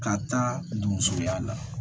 Ka taa don musoya la